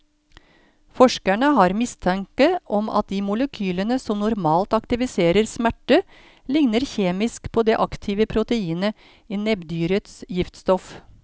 Forskerne har mistanke om at de molekylene som normalt aktiviserer smerte, ligner kjemisk på det aktive proteinet i nebbdyrets giftstoff.